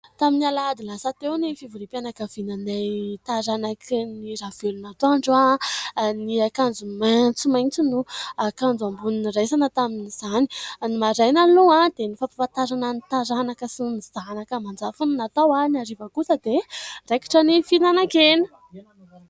Tamin'ny Alahady lasa teo ny fivoriam-pianakavinanay taranak'i Niravelonatoandro. Ny akanjo maitsomaitso no akanjo ambony niraisana tamin'izany. Ny maraina aloha dia ny fampahafantarana ny taranaka sy ny zanaka aman-jafy no natao ; ny hariva kosa dia raikitra ny fihinanan-kena.